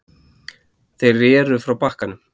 Þeir reru frá bakkanum.